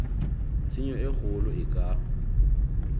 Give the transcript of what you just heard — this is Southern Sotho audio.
tshenyo e kgolo e ka